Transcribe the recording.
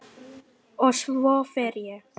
Og svo fer ég.